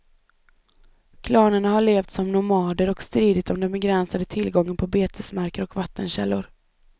Klanerna har levt som nomader och stridit om den begränsade tillgången på betesmarker och vattenkällor.